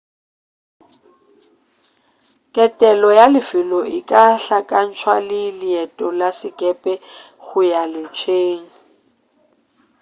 ketelo ya lefelo e ka hlakantšwa le leeto la sekepe go ya letsheng